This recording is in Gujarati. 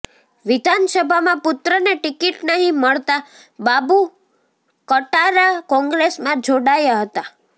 વિધાનસભામાં પુત્રને ટિકિટ નહીં મળતા બાબુ કટારા કોંગ્રેસમાં જોડાયા હતા